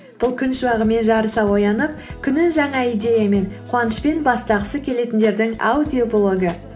бұл күн шуағымен жарыса оянып күнін жаңа идеямен қуанышпен бастағысы келетіндердің аудиоблогы